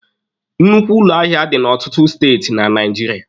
Nnukwu ụlọ ahịa dị n'ọtụtụ Steeti na Naijiria.